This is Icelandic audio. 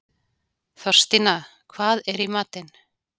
Þorstína, hvað er í matinn?